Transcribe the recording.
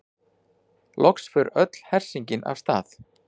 Loks fer öll hersingin af stað.